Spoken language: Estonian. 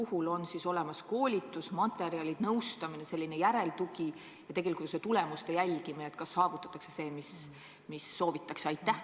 Kas on ikka olemas koolitusmaterjalid, nõustajad, järeltugi ja tegelikult ka tulemuste jälgimine – selles mõttes, kas ikka saavutatakse seda, mida soovitakse?